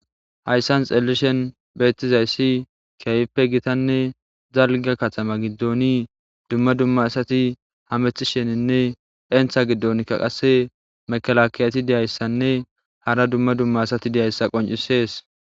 hayssan xellishen beettizayssi kiayippe gitanne zalga katama giddoni dumma dumma asati hamethisheninne entha giddonkka qasse mekalakiyati deyayssanne hara dumma dumma asati deyayssa qoncisees